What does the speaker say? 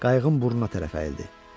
Qayığın burnuna tərəf əyildi.